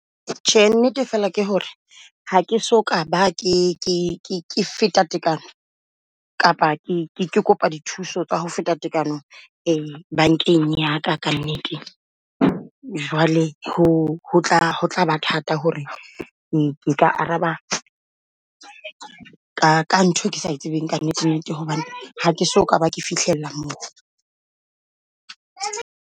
Tjhe nnete fela ke hore ha ke soka ba ke feta tekano kapa ke ke kopa dithuso tsa hofeta tekano e bankeng ya ka nnete. Jwale ho tlaba thata hore nka araba ka ntho ke sa tsebeng ka nnete nnete hobane ha keso kaba ke fihlela moo.